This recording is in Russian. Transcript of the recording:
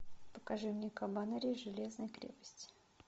покажи мне кабанери железной крепости